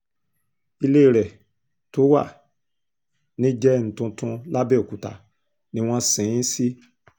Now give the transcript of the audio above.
ilé rẹ̀ tó wà nìjẹun tuntun làbẹ́ọ̀kúta ni wọ́n sin ín sí